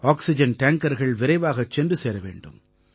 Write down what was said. oxygen டேங்கர்கள் விரைவாகச் சென்று சேர வேண்டும்